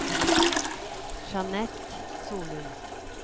Jeanette Solum